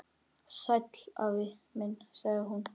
Sæll afi minn sagði hún.